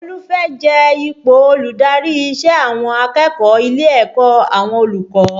Olú fẹ́ jẹ ipò olùdarí ìṣe àwọn akẹ́kọ̀ọ́ ilé ẹ̀kọ́ àwọn olùkọ́